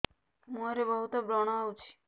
ମୁଁହରେ ବହୁତ ବ୍ରଣ ହଉଛି